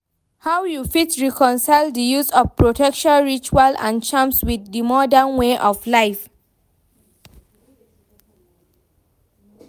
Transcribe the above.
How you fit reconcile di use of protection rituals and charms with di modern way of life?